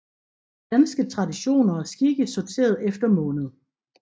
Danske traditioner og skikke sorteret efter måned